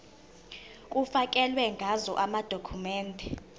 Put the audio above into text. kufakelwe ngazo amadokhumende